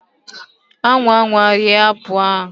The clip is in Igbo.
anwa anwa rie apple ahu!